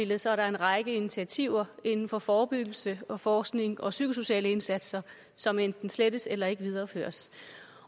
der så er en række initiativer inden for forebyggelse og forskning og psykosociale indsatser som enten slettes eller ikke videreføres